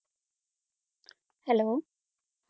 Hello